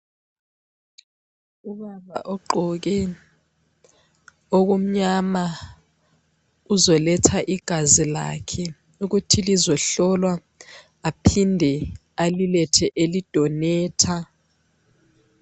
Ubaba ogqoke okumnyama uzoletha igazi lakhe ukuthi lizohlolwa aphinde alilethe eli donater.